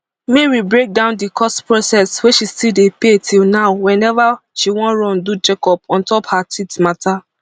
mary break down di cost process wey she still dey pay till now weneva she wan run do checkup on top her teeth mata